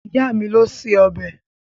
Ìyá mi ló se ọbẹ̀.